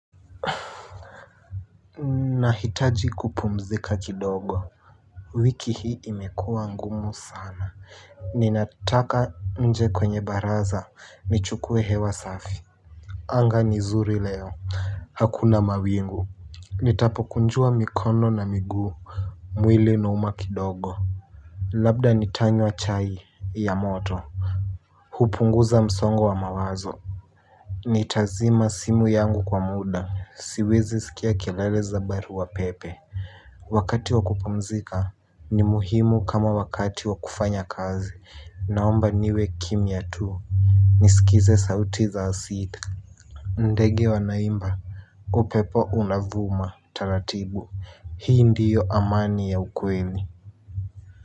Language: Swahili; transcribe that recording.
Nahitaji kupumzika kidogo. Wiki hii imekua ngumu sana. Ninataka nje kwenye baraza nichukue hewa safi. Anga ni zuri leo. Hakuna mawingu. Nitapo kunjua mikono na miguu. Mwili nuuma kidogo. Labda nitanywa chai ya moto. Hupunguza msongo wa mawazo. Nitazima simu yangu kwa muda siwezi sikia kelele za barua pepe. Wakati wakupamzika ni muhimu kama wakati wakufanya kazi naomba niwe kimia tuu. Nisikize sauti za sita. Ndege wanaimba, upepo unavuma taratibu hii ndiyo amani ya ukweli.